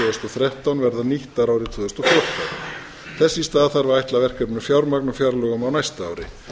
þrettán verða nýttar árið tvö þúsund og fjórtán þess í stað þarf að ætla verkefninu fjármagn á fjárlögum á næsta ári